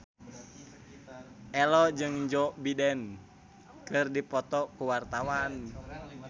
Ello jeung Joe Biden keur dipoto ku wartawan